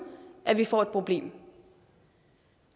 at vi får et problem